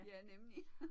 Ja nemlig